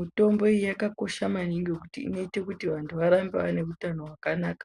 mitombo yakakoshe maningi nekuti inoita kuti anhu arambe aine hutano hwakanaka.